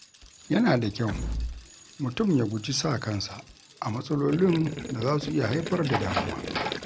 Yana da kyau mutum ya guji sa kansa a matsalolin da za su iya haifar da damuwa.